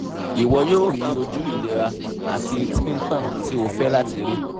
ìwọ yóò rí oju ilera ati ti ntan ti o fẹ́ láti ri